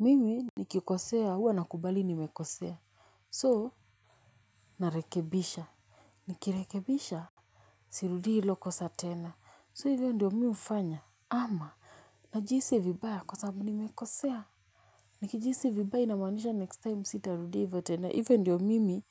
Mimi nikikosea huwa nakubali nimekosea so narekebisha, Nikirekebisha sirudii hilio kosa tena, so hivyo ndo mi hufanya ama najihisi vibaya kwa sababu nimekosea nikijihisi vibaya inamaanisha next time sitarudia hivyo tena, hivyo ndio mimi